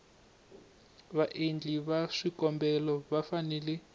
vaendli va swikombelo va fanele